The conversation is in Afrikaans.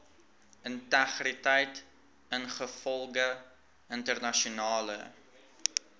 integriteit ingevolge internasionale